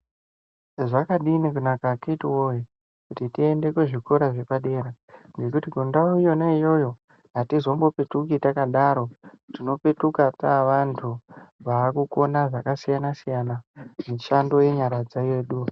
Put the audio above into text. Zvakadini kunaka akiti woye kuti tiende kuzvikora zvepadera ngekuti mundau yona iyoyo atizombopetuki takadaro tinopetuka tava vantu vavakukona zvakasiyana siyana mishando yenyara yedu.